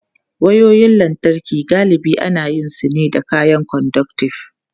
Wayoyin lantarki galibi ana yin su ne da kayan conductive.